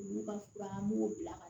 Olu ka fura an b'u bila ka